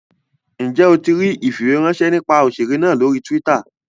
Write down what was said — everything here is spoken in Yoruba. Njẹ o tí ríi ifiweranṣẹ nípa òṣèré náà lórí twitter?